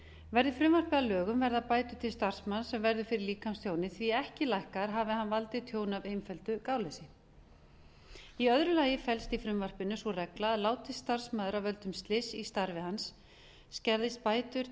verði frumvarpið að lögum verða bætur til starfsmanns sem verður fyrir líkamstjóni því ekki lækkaðar hafi hann valdið tjóni af einföldu gáleysi í öðru lagi felst í frumvarpinu sú regla að látist starfsmaður af völdum slyss í starfi hans skerðist bætur